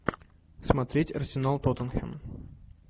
смотреть арсенал тоттенхэм